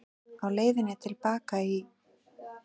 Á leiðinni til baka í